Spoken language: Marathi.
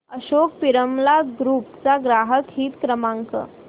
अशोक पिरामल ग्रुप चा ग्राहक हित क्रमांक